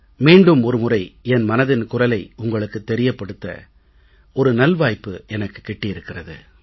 மீண்டும் ஒரு முறை என் மனதின் குரலை உங்களுக்குத் தெரியப்படுத்த ஒரு நல்வாய்ப்பு எனக்குக் கிட்டியிருக்கிறது